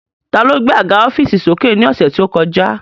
Ta ló gbé àga ọ́fììsì sókè ní ọ̀sẹ̀ tí ó kọjá